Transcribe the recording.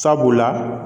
Sabula